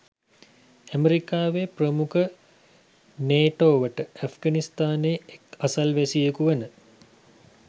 ඇමෙරිකාව ප්‍රමුඛ නේටෝවට ඇෆ්ගනිස්තානයේ එක් අසල්වැසියකු වන